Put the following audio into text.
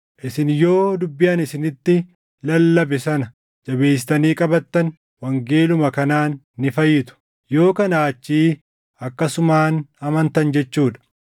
Isin yoo dubbii ani isinitti lallabe sana jabeessitanii qabattan wangeeluma kanaan ni fayyitu. Yoo kanaa achii akkasumaan amantan jechuu dha.